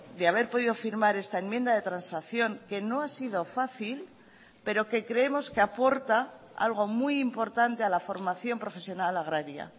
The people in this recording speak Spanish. de haber podido firmar esta enmienda de transacción que no ha sido fácil pero que creemos que aporta algo muy importante a la formación profesional agraria